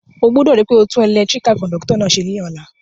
O gbúdò ri pe o tun electrical conductor náà se lóla